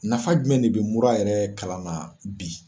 Nafa jumɛn de be mura yɛrɛ kalan na bi?